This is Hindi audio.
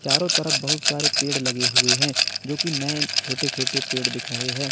चारों तरफ बहुत सारे पेड़ लगे हुए हैं जो की नये छोटे छोटे पेड़ दिख रहे हैं।